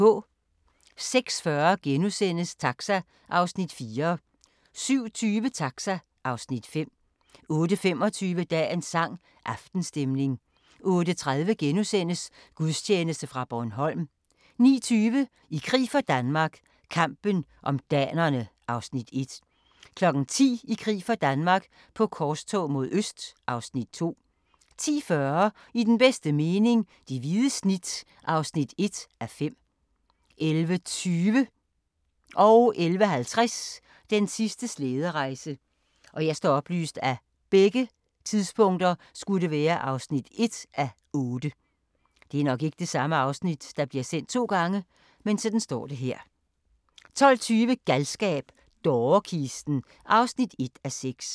06:40: Taxa (Afs. 4)* 07:20: Taxa (Afs. 5) 08:25: Dagens sang: Aftenstemning 08:30: Gudstjeneste fra Bornholm * 09:20: I krig for Danmark - kampen om danerne (Afs. 1) 10:00: I krig for Danmark - på korstog mod øst (Afs. 2) 10:40: I den bedste mening – Det hvide snit (1:5) 11:20: Den sidste slæderejse (1:8) 11:50: Den sidste slæderejse (1:8) 12:20: Galskab - dårekisten (1:6)